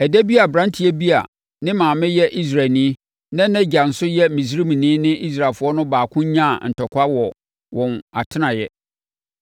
Ɛda bi aberanteɛ bi a ne maame yɛ Israelni na nʼagya nso yɛ Misraimni ne Israelfoɔ no baako nyaa ntɔkwa wɔ wɔn atenaeɛ.